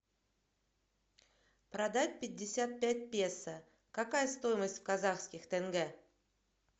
продать пятьдесят пять песо какая стоимость в казахских тенге